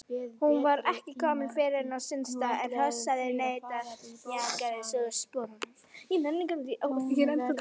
Hún var ekki fyrr kominn á sinn stað en hrossið neitaði að mjakast úr sporunum.